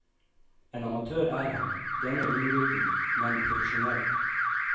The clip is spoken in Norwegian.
En amatør er han, denne unggutten, men profesjonell.